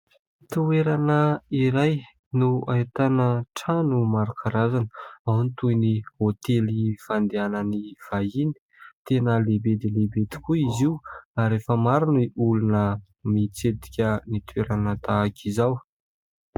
Toerana iray no ahitana trano maro karazana. Ao ny toy ny hôtely fandehanan'ny vahiny. Tena lehibe dia lehibe tokoa izy io ary efa maro ny olona mitsidika ny toerana tahaka izao.